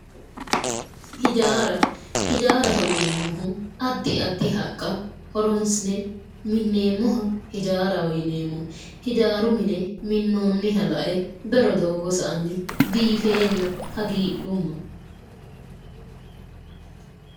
Ijaara ijaaraho yineeemmoohu addi addi haqqaa horoonsi'ne minneemmoha ijaaraho yineemmo ijaaru mine minnoonniha la"e bero doogo sa"anni biifeenna hagiidhumma